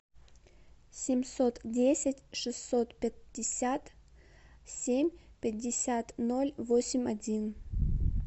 семьсот десять шестьсот пятьдесят семь пятьдесят ноль восемь один